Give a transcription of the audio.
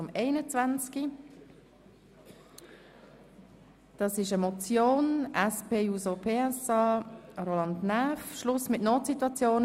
Hier handelt es sich um eine Motion der SPJUSO-PSA-Fraktion mit dem Titel «Schluss mit Notsituationen: